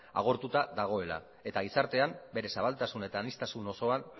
agortuta dagoela eta gizartean bere zabaltasun eta aniztasun osoan